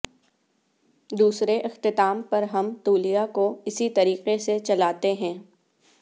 دوسرے اختتام پر ہم تولیہ کو اسی طریقے سے چلاتے ہیں